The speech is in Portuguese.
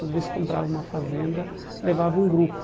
Toda vez que comprava uma fazenda, levava um grupo.